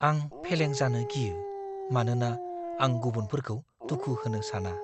आं फेलें जानो गियो, मानोना आं गुबुनफोरखौ दुखु होनो साना।